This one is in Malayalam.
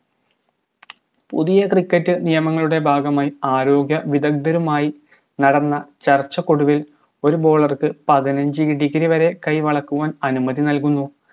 നിയമങ്ങളുടെ ഭാഗമായി ആരോഗ്യ വിദഗ്ദ്ധരുമായി നടന്ന ചർച്ചക്കൊടുവിൽ ഒര് bowler ക്ക് പതിനഞ്ച് degree വരെ കൈ വളക്കുവാൻ അനുമതി നൽകുന്നു